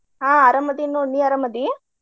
ಹಾ ಅರಾಮದಿನ್ ನೋಡ್ ನಿ ಅರಾಮ್ ಅದಿ?